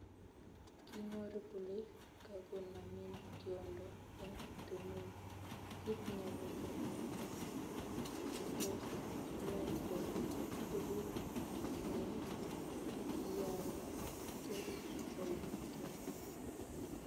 Kinyoru kole kagonamin tyondo eng tumin, kit nebo kamanut netos iyai ko ibut ingweny agiyaygei kole kemei